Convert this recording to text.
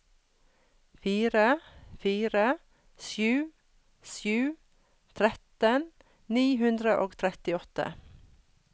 fire fire sju sju tretten ni hundre og trettiåtte